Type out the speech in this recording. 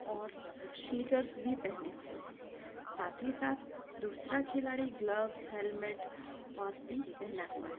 और स्नीकर्स भी पहने हुए है साथ ही साथ दूसरा खिलाड़ी ग्लव्स हैलमेट और हाेति पहना हुआ है।